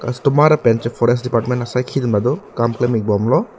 lapen forest department asaiki atum ta do kam klem ik bomlo.